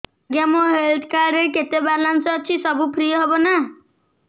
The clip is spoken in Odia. ଆଜ୍ଞା ମୋ ହେଲ୍ଥ କାର୍ଡ ରେ କେତେ ବାଲାନ୍ସ ଅଛି ସବୁ ଫ୍ରି ହବ ନାଁ